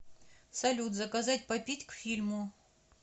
салют заказать попить к фильму